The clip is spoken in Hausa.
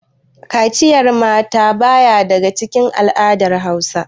Kaciyan mata ba ya daga cikin al'adar Hausa.